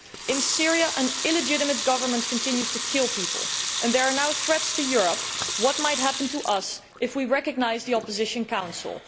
In Syria, an illegitimate government continues to kill people, and there are now threats to Europe concerning that might happen to us if we recognise the Opposition Council.